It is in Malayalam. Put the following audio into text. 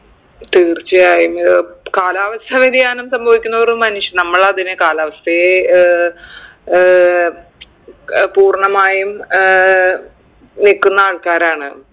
തീർച്ചയായും ഏർ കാലാവസ്ഥ വ്യതിയാനം സംഭവിക്കും തോറും മനുഷ്യ നമ്മളതിനെ കാലാവസ്ഥയെ ഏർ ഏർ ഏർ പൂർണ്ണമായും ഏർ നിക്കുന്ന ആൾക്കാരാണ്